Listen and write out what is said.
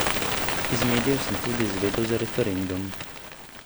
Iz medijev sem tudi izvedel za referendum.